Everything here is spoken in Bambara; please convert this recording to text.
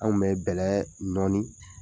Anw bɛ bɛlɛ nɔɔni